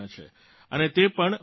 અને તે પણ વારેવારે